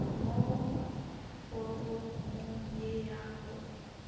mo foromong ye ya go